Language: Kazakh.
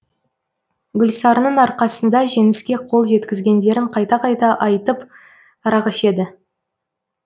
гүлсарының арқасында жеңіске қол жеткізгендерін қайта қайта айтып арақ ішеді